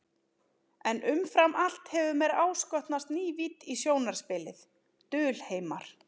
En umfram allt hefur mér áskotnast ný vídd í sjónarspilið, dulheimar.